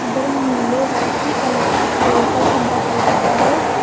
ಇದರ ಮೇಲೆ Y C electric vehicles ಅಂತ ಬರೆದಿದ್ದಾರೆ.